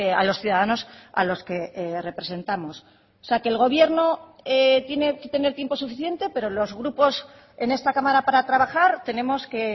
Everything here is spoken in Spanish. a los ciudadanos a los que representamos o sea que el gobierno tiene que tener tiempo suficiente pero los grupos en esta cámara para trabajar tenemos que